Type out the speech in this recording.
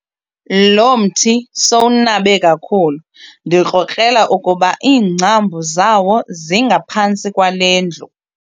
Lo mthi sowunabe kakhulu ndikrokrela ukuba iingcambu zawo zingaphantsi kwale ndlu.